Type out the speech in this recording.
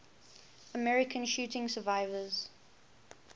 american shooting survivors